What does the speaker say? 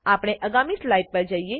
આપણે આગામી સ્લાઇડ પર જઈએ